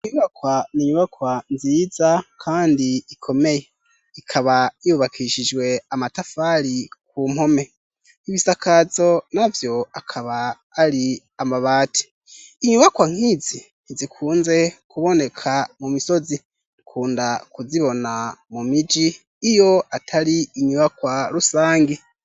inyubakwa ninyubakwa nziza kandi ikomeye ikaba yubakishijwe amatafari ku mpome n'ibisakazo navyo akaba ari amabati inyubakwa nkizi ntizikunze kuboneka mu misozi kunda kuzibona mu miji iyo atari inyubakwa rusangi